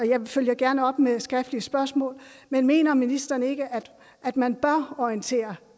jeg følger gerne op med skriftlige spørgsmål men mener ministeren ikke at man bør orientere